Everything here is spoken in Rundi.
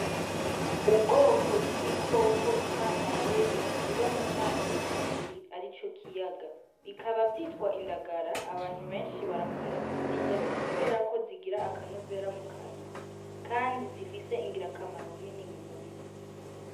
Ubwoko bw'ibikoko imana yaremye biba mu mazi menshi ari co kiyaga bikaba vyitwa indagara abantu benshi barakunda kuzirya, kubera ko zigira akanovera mu kanwa, kandi zifise ingira kamaro nini mu mubiri.